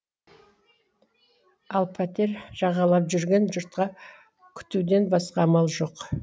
ал пәтер жағалап жүрген жұртқа күтуден басқа амал жоқ